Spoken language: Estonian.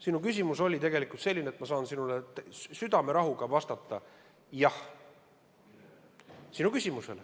Sinu küsimus oli selline, et ma saan sulle südamerahuga vastata: jah.